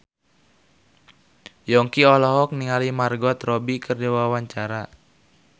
Yongki olohok ningali Margot Robbie keur diwawancara